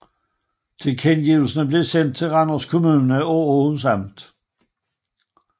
Tilkendegivelserne blev sendt til Randers Kommune og Århus Amt